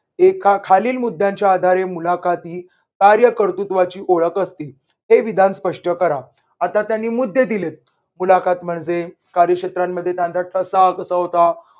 एका खालील मुद्द्यांच्या मुलाखत कार्यकर्तृत्वाची ओळख असतील हे विधान स्पष्ट करा. आता त्यांनी मुद्दे दिलेत मुलाखत म्हणजे कार्य क्षेत्रांमध्ये त्यांचा ठसा कसा होता